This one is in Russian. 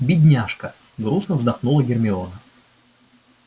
бедняжка грустно вздохнула гермиона